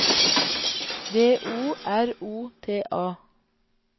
D O R O T A